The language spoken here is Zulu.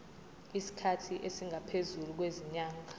isikhathi esingaphezulu kwezinyanga